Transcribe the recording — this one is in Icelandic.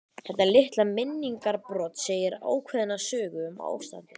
Þetta litla minningarbrot segir ákveðna sögu um ástandið.